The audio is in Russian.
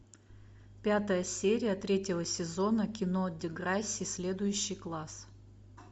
пятая серия третьего сезона кино деграсси следующий класс